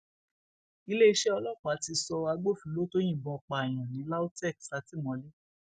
iléeṣẹ ọlọpàá ti sọ agbófinró tó yìnbọn pààyàn ní lautech sátìmọlé